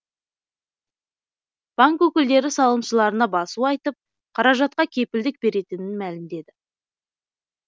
банк өкілдері салымшыларына басу айтып қаражатқа кепілдік беретінін мәлімдеді